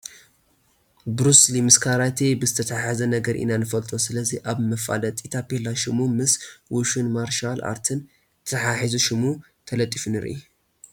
ቡሩስሊ ምስ ካራቴ ብዝተተሓሓዘ ነገር ኢና ንፈልጦ፡፡ ስለዚ ኣብዚ መፋለጢ ታፔላ ሽሙ ምስ ውሹን ማርሻል ኣርትን ተተሓሒዙ ሽሙ ተጠሺሱ ንርኢ፡፡